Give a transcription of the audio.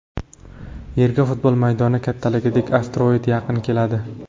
Yerga futbol maydoni kattaligidagi asteroid yaqin keladi.